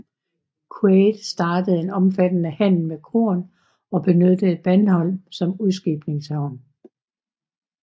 Quade startede en omfattede handel med korn og benyttede Bandholm som udskibningshavn